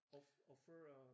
Offer øh